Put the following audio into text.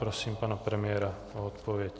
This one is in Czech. Prosím pana premiéra o odpověď.